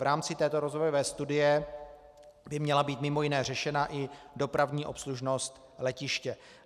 V rámci této rozvojové studie by měla být mimo jiné řešena i dopravní obslužnost letiště.